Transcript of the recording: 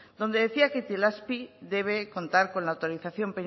donde decía que itelazpi debe contar con la autorización